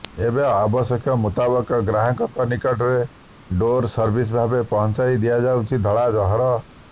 ଏବେ ଆବଶ୍ୟକ ମୁତାବକ ଗ୍ରାହକଙ୍କ ନିକଟରେ ଡୋର୍ ସର୍ଭିସ ଭାବେ ପହଞ୍ଚାଇ ଦିଆଯାଉଛି ଧଳା ଜହର